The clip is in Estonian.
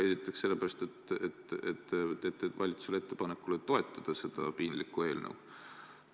Esiteks sellepärast, et te teete valitsusele ettepaneku toetada seda piinlikku eelnõu.